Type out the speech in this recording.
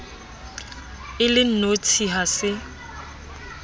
e le nnotshi ha se